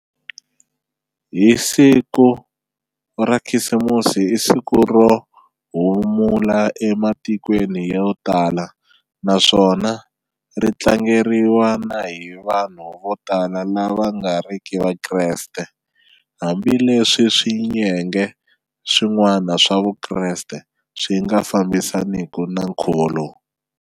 Hi siku ra khisimusi i siku rohumula e matikweni yo tala, naswona ritlangeriwa na hi vanhu votala lava vangariki vakreste, hambi leswi swiyenge swin'wana swa vukreste swi nga fambisaniki na nkhuvo lowu.